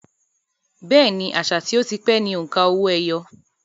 Bẹ́ẹ̀ni, àṣà tí ó ti pẹ́ ni òǹkà owó-ẹyọ